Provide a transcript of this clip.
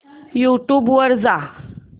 YouTube वर जा